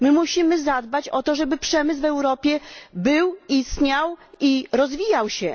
Musimy zadbać o to, żeby przemysł w Europie był, istniał i rozwijał się.